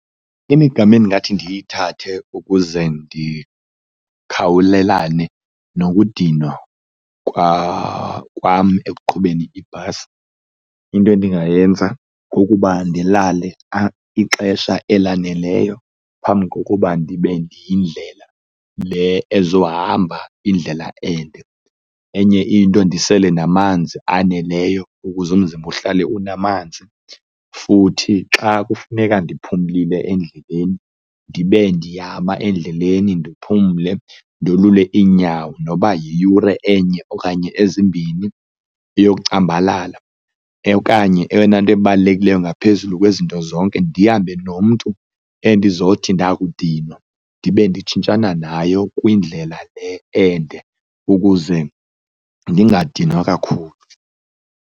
Imigama endingathi ndiyithathe ukuze ndikhawulelane nokudinwa kwam ekuqhubeni ibhasi, into endingayenza kukuba ndilale ixesha elaneleyo phambi kokuba ndibe ndiye yindlela le ezohamba indlela ende. Enye into ndisele namanzi aneleyo ukuze umzimba uhlale unamanzi futhi xa kufuneka ndiphumlile endleleni, ndibe ndiyama endleleni ndiphumle ndolule iinyawo noba yiyure enye okanye ezimbini eyocambalala. Okanye eyona nto ebalulekileyo ngaphezulu kwezinto zonke, ndihambe nomntu endizothi ndakudingwa ndibe nditshintshana naye kwindlela le ende ukuze ndingadinwa kakhulu.